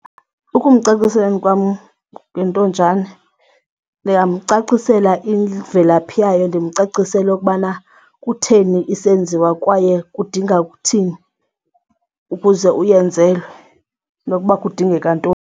Ukumcaciseleni kwam ngentonjana ndingamcacisela imvelaphi yayo, ndimcacisele okubana kutheni isenziwa kwaye kudinga kuthini ukuze uyenzelwe nokuba kudingeka ntoni.